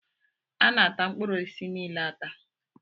Ana ata mkpụrụ osisi niile ata